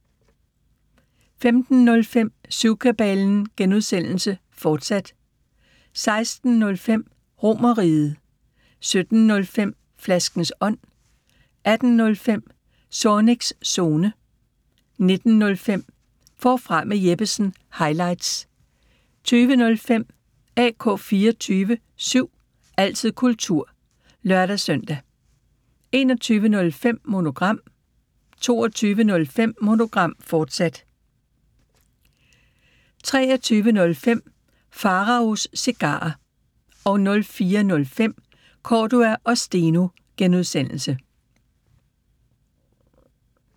15:05: Syvkabalen (G), fortsat 16:05: RomerRiget 17:05: Flaskens ånd 18:05: Zornigs Zone 19:05: Forfra med Jeppesen – highlights 20:05: AK 24syv – altid kultur (lør-søn) 21:05: Monogram 22:05: Monogram, fortsat 23:05: Pharaos Cigarer 04:05: Cordua & Steno (G)